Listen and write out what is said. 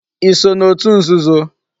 I so na otu nzuzo?